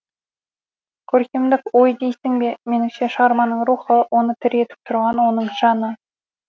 көркемдік ой дейсің бе меніңше шығарманың рухы оны тірі етіп тұрған оның жаны